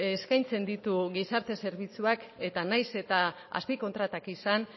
eskaintzen ditu gizarte zerbitzuak eta nahiz eta azpikontratak izan